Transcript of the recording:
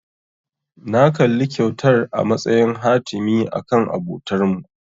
Na kalli kyautar a matsayin hatimi akan abotarmu.